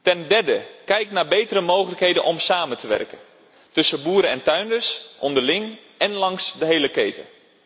Ten derde, kijk naar betere mogelijkheden om samen te werken, tussen boeren en tuinders onderling en langs de hele keten.